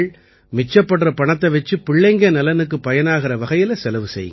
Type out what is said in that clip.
மிச்சப்படுற பணத்தை வச்சு பிள்ளைங்க நலனுக்குப் பயனாகற வகையில செலவு செய்யுங்க